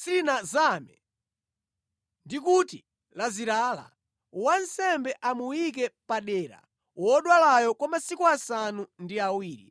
silinazame ndi kuti lazirala, wansembe amuyike padera wodwalayo kwa masiku asanu ndi awiri.